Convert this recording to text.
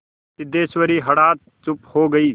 सिद्धेश्वरी हठात चुप हो गई